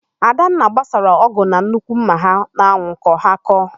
Adanna gbasara ọ́gụ̀ na nnukwu ḿmà ha n'anwụ ka ha kọọ.